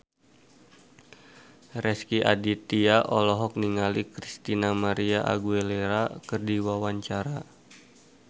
Rezky Aditya olohok ningali Christina María Aguilera keur diwawancara